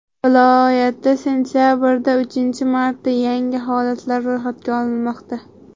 Viloyatda sentabrda uchinchi marta yangi holatlar ro‘yxatga olinmoqda.